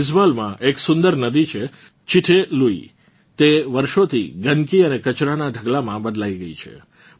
આઇજવાલમાં એક સુંદર નદી છે ચિટે લુઇ તે વર્ષોંથી ગંદકી અને કચરાનાં ઢગલામાં બદલાઇ ગઇ છે